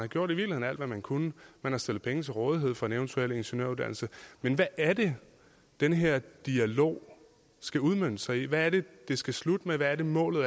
gjort alt hvad man kunne man har stillet penge til rådighed for en eventuel ingeniøruddannelse men hvad er det den her dialog skal udmønte sig i hvad er det det skal slutte med hvad er målet